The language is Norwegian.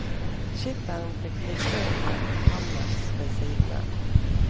Skipperen fikk ligge i et kammers ved siden av.